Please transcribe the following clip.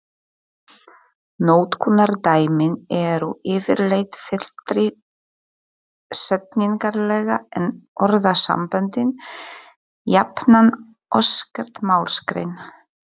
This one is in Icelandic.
Notkunardæmin eru yfirleitt fyllri setningarlega en orðasamböndin, jafnan óskert málsgrein